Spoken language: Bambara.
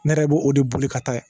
Ne yɛrɛ b'o de boli ka taa